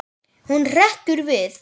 Hún hrekkur við.